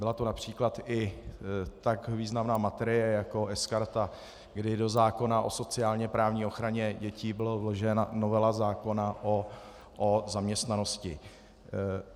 Byla to například i tak významná materie, jako sKarta, kdy do zákona o sociálně-právní ochraně dětí byla vložena novela zákona o zaměstnanosti.